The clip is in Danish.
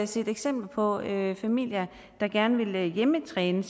set eksempler på at familier der gerne ville hjemmetræne